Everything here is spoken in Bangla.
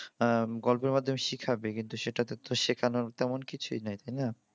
উম গল্পের মাধ্যমে শিখাবে কিন্তু সেটাতে তো শেখানর তেমন কিছুই নেই তাই না?